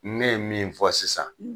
Ne ye min fɔ sisan